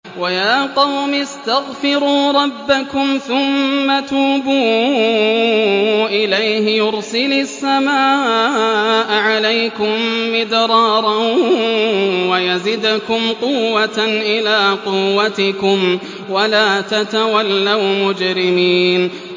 وَيَا قَوْمِ اسْتَغْفِرُوا رَبَّكُمْ ثُمَّ تُوبُوا إِلَيْهِ يُرْسِلِ السَّمَاءَ عَلَيْكُم مِّدْرَارًا وَيَزِدْكُمْ قُوَّةً إِلَىٰ قُوَّتِكُمْ وَلَا تَتَوَلَّوْا مُجْرِمِينَ